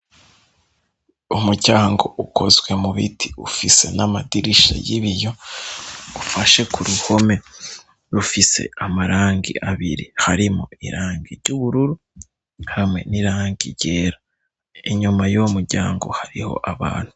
Umuryango ukozwe mu biti ufise n'amadirisha y'ibiyo ufashe ku ruhome rufise amarangi abiri harimo irangi ry'ubururu hamwe n'irangi ryera inyuma y'uwo muryango hariho abantu.